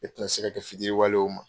E tɛ na se ka kɛ fitiriwale ye u ma .